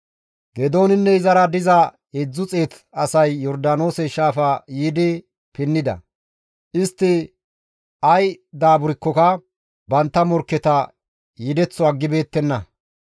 Geedooninne izara diza 300 asay Yordaanoose shaafa yiidi pinnida; istti ay daaburkkoka bantta morkketa yedeththo aggibeettenna.